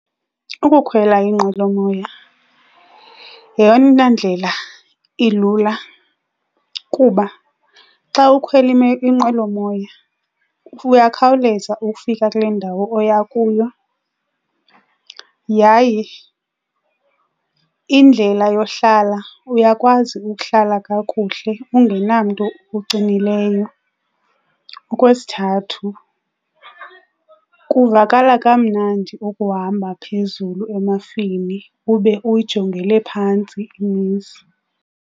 Ukukhwela inqwelomoya yeyona ndlela ilula kuba xa ukhwela inqwelomoya uyakhawuleza ukufika kule ndawo oya kuyo. Yaye indlela yohlala uyakwazi ukuhlala kakuhle ungenamntu ukuxinileyo. Okwesithathu kuvakala kamnandi ukuhamba phezulu emafini ube uyijongele phantsi imizi.